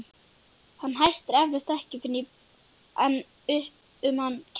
Hann hættir eflaust ekki fyrr en upp um hann kemst.